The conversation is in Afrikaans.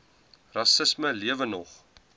rassisme lewe nog